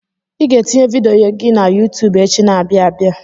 Ị ga-etinye vidiyo gị na YuuTub echi na-abịa abịa.